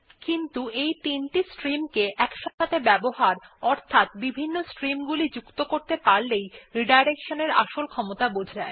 কিন্তু এই তিনটি স্ট্রিম কে একসাথে ব্যবহার অর্থাৎ বিভিন্ন স্ট্রিম গুলি যুক্ত কতে পারলে রিডাইরেকশন আসল ক্ষমতা বোঝা যায়